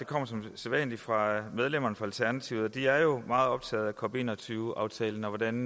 kommer som sædvanlig fra medlemmerne af alternativet og de er jo meget optaget af cop21 aftalen og hvordan